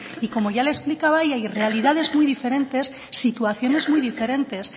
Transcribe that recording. y como ya le he explicado hay realidades muy diferentes situaciones muy diferentes